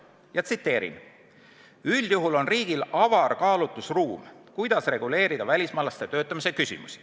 Ma tsiteerin: "Üldjuhul on riigil avar kaalutlusruum, kuidas reguleerida välismaalaste töötamise küsimusi.